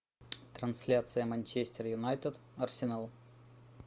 трансляция манчестер юнайтед арсенал